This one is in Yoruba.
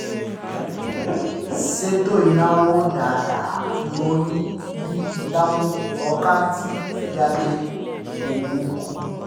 ṣètò ináwó dáadáa yóò dín ìdààmú ọkàn àti fìyàjẹ owó kù